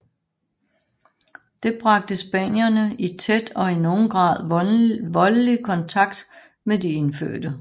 Det bragte spanierne i tæt og nogen gange voldelig kontakt med de indfødte